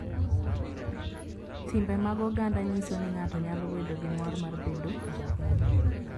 Timbe mag oganda nyiso ni ng�ato nyalo bedo gi mor mar bedo Ja-Kenya